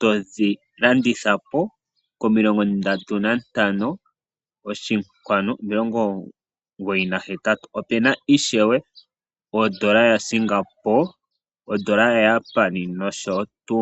to dhilanditha po komilongo ndatu nantano oshinkwanu omilongo omugoyi nahetatu opena ishewe odola yaSingabo, odola yaJapani nosho tuu.